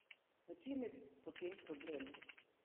V čem je potem problem?